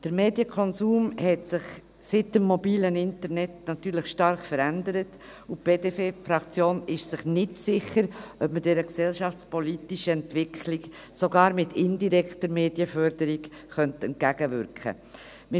Der Medienkonsum hat sich seit dem mobilen Internet natürlich stark verändert, und die BDP-Fraktion ist sich nicht sicher, ob man dieser gesellschaftspolitischen Entwicklung sogar mit indirekter Medienförderung entgegenwirken könnte.